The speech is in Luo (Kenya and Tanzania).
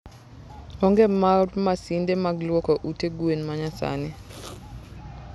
onge mar masinde mag lwoko ute gwen ma nyasani.